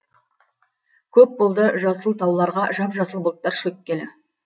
көп болды жасыл тауларға жап жасыл бұлттар шөккелі